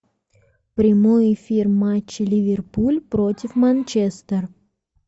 прямой эфир матча ливерпуль против манчестер